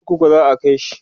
wani kurkukun za'a kaishi?